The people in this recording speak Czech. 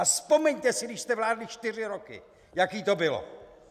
A vzpomeňte si, když jste vládli čtyři roky, jaké to bylo.